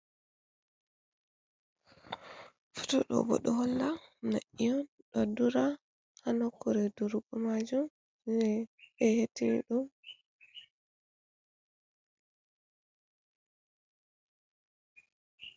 Fotoɗo bo ɗo holla nai'on ɗo dura hanokure durugo majum j beete ɗum?